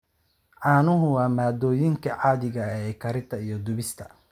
Caanuhu waa maaddooyinka caadiga ah ee karinta iyo dubista.